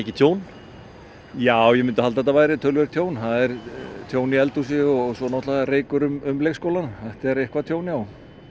tjón já ég myndi halda að þetta væri töluvert tjón það er tjón í eldhúsi og svo reykur um leikskólann þetta er eitthvað tjón já